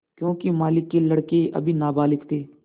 योंकि मालिक के लड़के अभी नाबालिग थे